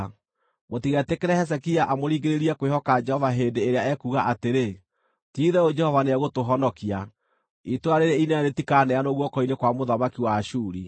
Mũtigetĩkĩre Hezekia amũringĩrĩrie kwĩhoka Jehova hĩndĩ ĩrĩa ekuuga atĩrĩ, ‘Ti-itherũ Jehova nĩegũtũhonokia; itũũra rĩĩrĩ inene rĩtikaaneanwo guoko-inĩ kwa mũthamaki wa Ashuri.’